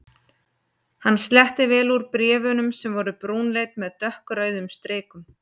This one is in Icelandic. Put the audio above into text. Hann sletti vel úr bréf- unum sem voru brúnleit með dökkrauðum strikum.